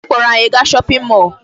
Nne m kpọrọ anyị gaa shopping mall.